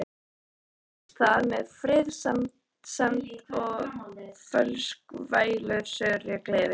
Allt hófst það með friðsemd og fölskvalausri gleði.